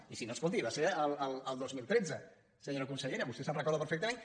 i si no escolti va ser el dos mil tretze senyora consellera vostè se’n recorda perfectament